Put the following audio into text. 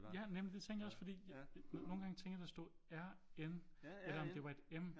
Ja nemlig det tænkte jeg også fordi nogle gange tænkte jeg der stod R N eller om det var et M